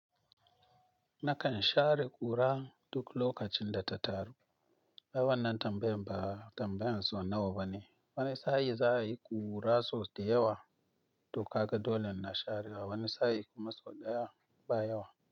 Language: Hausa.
Nakan share ƙura duk lokacin da ta taru. Ai wannan tambayar ba tambayar so nawa bane. Wani sa'in za a yi ƙura sau da yawa to kaga dole ina sharewa, wani sa'in kuma sau ɗaya ba yawa.